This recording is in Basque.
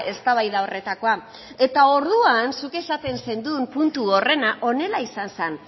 eztabaida horretakoa eta orduan zuk esaten zenuen puntu horrena honela izan zen